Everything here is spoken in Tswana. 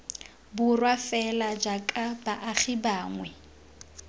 borwa fela jaaka baagi bangwe